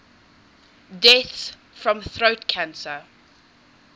deaths from throat cancer